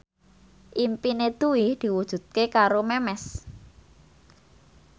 impine Dwi diwujudke karo Memes